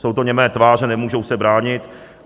Jsou to němé tváře, nemůžou se bránit.